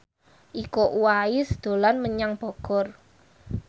Iko Uwais dolan menyang Bogor